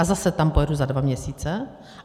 A zase tam pojedu za dva měsíce.